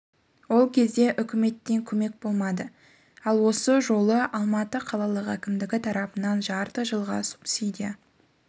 ол кезде үкіметтен көмек болмады ал осы жолы алматы қалалық әкімдігі тарапынан жарты жылға субсидия